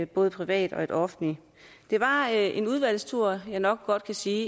både private og et offentligt det var en udvalgstur jeg nok godt kan sige